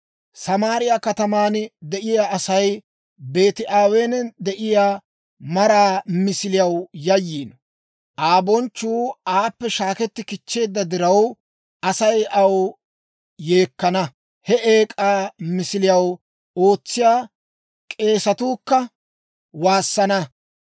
Samaariyaa kataman de'iyaa Asay Beeti-Aweenan de'iyaa maraa misiliyaw yayyiino. Aa bonchchuu aappe shaaketti kichcheedda diraw, Asay aw yeekkana; he eek'aa misiliyaw ootsiyaa k'eesatuu kka waassana.